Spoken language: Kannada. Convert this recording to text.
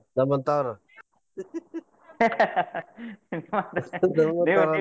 ತಗೊಂಡ್ ಮಾರೋರ್ ನಮ್ಮಂತವರ್ .